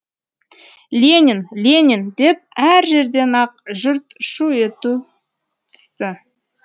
ленин ленин деп әр жерден ақ жұрт шу ете түсті